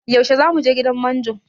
Yaushe zamu je gidan manjo?